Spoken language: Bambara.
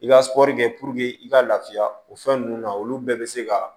I ka sɔri kɛ i ka lafiya o fɛn ninnu na olu bɛɛ bɛ se ka